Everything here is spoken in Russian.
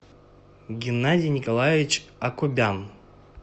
геннадий николаевич акубян